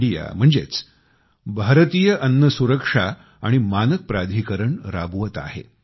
I अर्थात भारतीय अन्नसुरक्षा आणि मानक प्राधिकरण राबवत आहे